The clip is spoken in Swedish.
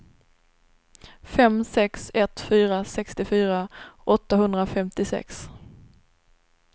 fem sex ett fyra sextiofyra åttahundrafemtiosex